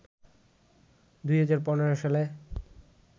২০১৫ সালে